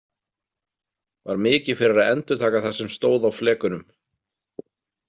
Var mikið fyrir að endurtaka það sem stóð á flekunum.